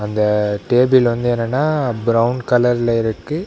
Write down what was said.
இந்த டேபிள் வந்து என்னன்னா பிரவுன் கலர்ல இருக்கு.